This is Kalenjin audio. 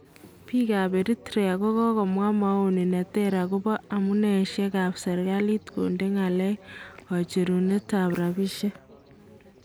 Bik kap Eritrea kokamwa maono neter akobo amuneishek kap serkalit konde ngalek kocherune ab rapishek